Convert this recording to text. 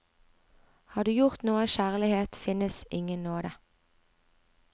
Har du gjort noe av kjærlighet, finnes ingen nåde.